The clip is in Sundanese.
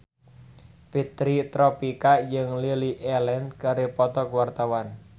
Fitri Tropika jeung Lily Allen keur dipoto ku wartawan